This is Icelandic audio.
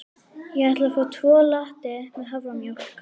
Ég ætla að fá tvo latte með haframjólk.